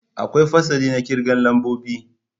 Akwai fasali na kirga lambobi.